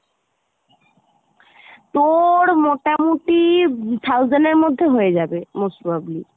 তোর মোটামুটি thousand এর মধ্যে হয়ে যাবে most probably.